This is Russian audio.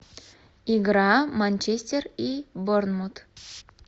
игра манчестер и борнмут